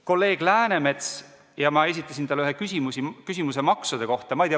Kolleeg Läänemetsale ma esitasin küsimuse maksude kohta.